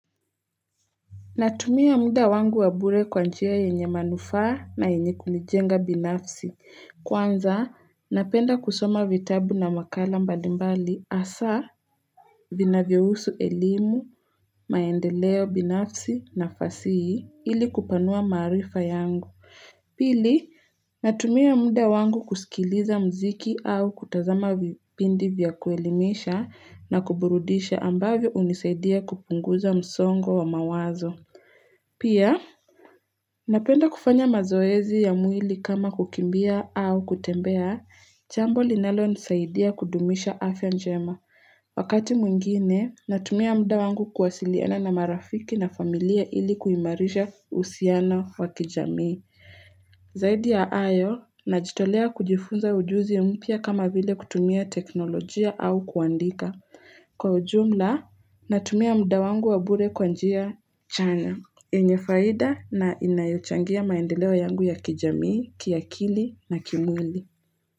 Natumia muda wangu wa bure kwa njia yenye manufaa na yenye kunijenga binafsi. Kwanza, napenda kusoma vitabu na makala mbalimbali hasa, vinavyohusu elimu, maendeleo binafsi na fasihi ili kupanua maarifa yangu. Pili, natumia muda wangu kusikiliza mziki au kutazama vipindi vya kuelimisha na kuburudisha ambavyo hunisaidia kupunguza msongo wa mawazo. Pia, napenda kufanya mazoezi ya mwili kama kukimbia au kutembea, jambo linalonisaidia kudumisha afya njema. Wakati mwingine, natumia mda wangu kwasiliana na marafiki na familia ili kuimarisha uhusiano wa kijamii. Zaidi ya hayo, najitolea kujifunza ujuzi ya mpya kama vile kutumia teknolojia au kuandika. Kwa ujumla, natumia muda wangu wa bure kwa njia chanya. Yenye faida na inayochangia maendeleo yangu ya kijamii, kiakili na kimwili.